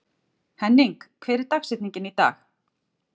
Henning, hver er dagsetningin í dag?